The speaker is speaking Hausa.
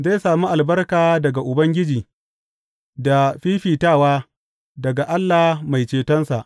Zai sami albarka daga Ubangiji da fiffitawa daga Allah Mai cetonsa.